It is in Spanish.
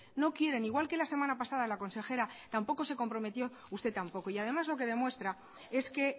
no quieren igual que la semana pasada la consejera tampoco se comprometió usted tampoco y además lo que demuestra es que